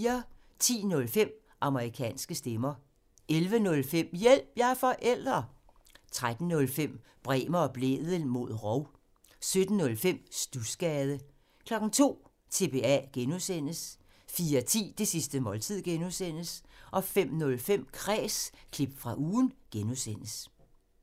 10:05: Amerikanske stemmer 11:05: Hjælp – jeg er forælder! 13:05: Bremer og Blædel mod rov 17:05: Studsgade 02:00: TBA (G) 04:10: Det sidste måltid (G) 05:05: Kræs – klip fra ugen (G)